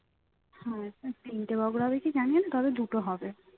হ্যাঁ তিনটে বখরা কি জানিনা তবে দুটো হবে